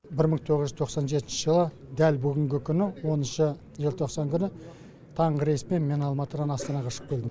бір мың тоғыз жүз тоқсан жетінші жылы дәл бүгінгі күні оныншы желтоқсан күні таңғы рейспен мен алматыдан астанаға ұшып келдім